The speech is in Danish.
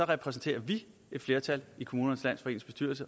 repræsenterer vi et flertal i kommunernes landsforenings